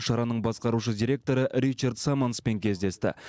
шараның басқарушы директоры ричард саманспен кездесті